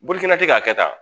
Bolifɛn tɛ k'a kɛ tan